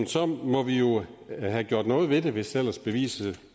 så må vi jo have gjort noget ved det hvis ellers beviset